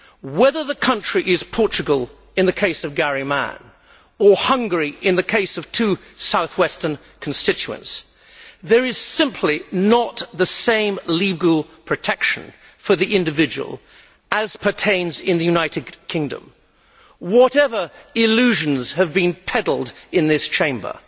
Whether the country is Portugal, in the case of Garry Mann, or Hungary, in the case of two south western constituents, there is simply not the same legal protection for the individual as pertains in the United Kingdom whatever illusions have been pedalled in this Chamber.